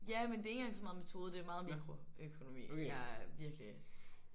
Ja men det er ikke engang så meget metode det er meget mikroøkonomi jeg er virkelig